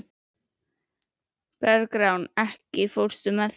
Bergrán, ekki fórstu með þeim?